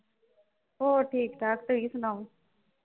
ਹੋਰ ਠੀਕ ਠਾਕ ਤੁਸੀਂ ਸੁਣਾਓ।